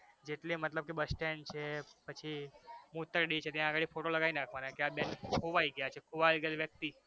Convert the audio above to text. જેટલે મતલબ કે bus stand છે પછી મુતરડી છે ત્યાં આગળ એક photo લગાઈ નાખવાનો એમ કે આ બેન ખોવાઈ ગયા છે ખોવાઈ ગયેલ વ્યક્તિ